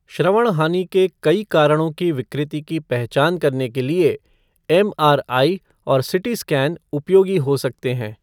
श्रवण हानि के कई कारणों की विकृति की पहचान करने के लिए एमआरआई और सीटी स्कैन उपयोगी हो सकते हैं।